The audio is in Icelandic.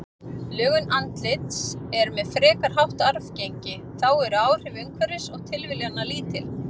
Lögun andlits er með frekar hátt arfgengi, þá eru áhrif umhverfis og tilviljana lítil.